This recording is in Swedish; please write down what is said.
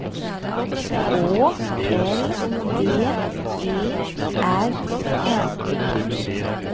Å L D E R N